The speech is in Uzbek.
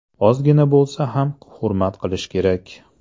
Ozgina bo‘lsa ham hurmat qilish kerak.